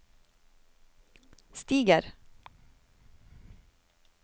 stiger